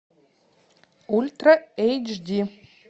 ультра эйч ди